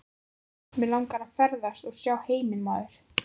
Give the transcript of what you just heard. Mig langar að ferðast og sjá heiminn maður.